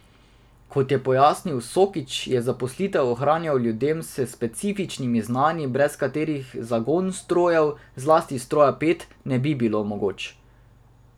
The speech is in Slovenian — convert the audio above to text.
Kot je pojasnil Soklič, je zaposlitev ohranjal ljudem s specifičnimi znanji, brez katerih zagon strojev, zlasti stroja pet, ne bi bil mogoč.